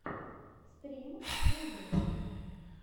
стрим бубы